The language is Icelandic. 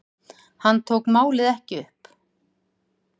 Hann tók málið ekki upp.